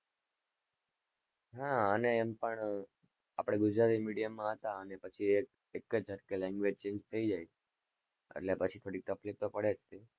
હા આને એમ પણ આપડે ગુજરાતી medium માં હતા. અને પછી એક જ જટકે language change થયી જાય એટલે પછી થોડીક તકલીફ તો પડે જ છે ને,